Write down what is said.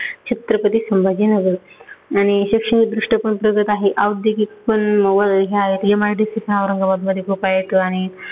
छत्रपती संभाजीनगर. आणि शैक्षणिक दृष्ट्या पण प्रगत आहे औद्योगीक पण मवा ह्या MIDC पण औरंगाबादमध्ये खूप आहेत. आणि